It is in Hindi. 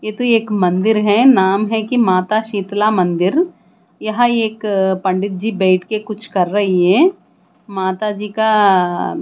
ये तो एक मंदिर है नाम है की माता शीतला मंदिर यहां एक पंडित जी बैठके के कुछ कर रही है माता जी का--